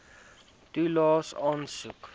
toelaes aansoek